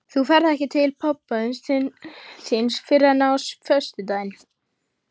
Þú ferð ekki til pabba þíns fyrr en á föstudaginn.